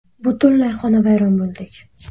Butunlay xonavayron bo‘ldik.